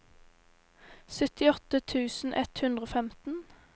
syttiåtte tusen ett hundre og femten